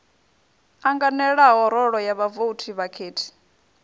anganelaho rolo ya vhavouti vhakhethi